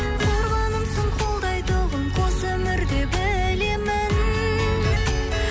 қорғанымсың қолдайтұғын қос өмірде білемін